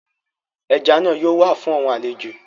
Eja naa yoo wa fun awọn alejo